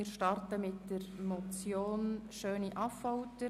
Wir beginnen mit der Motion SchöniAffolter: